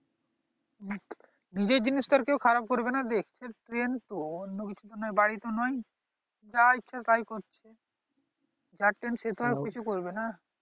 নিজের জিনিস তো আর কেউ খারাপ করবে না train তো বাড়ি তো নয় যা ইচ্ছা তাই করছে যার train সে তো আর কিছু করবে না